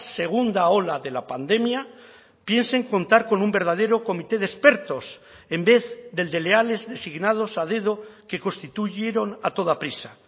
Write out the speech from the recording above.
segunda ola de la pandemia piensen contar con un verdadero comité de expertos en vez del de leales designados a dedo que constituyeron a toda prisa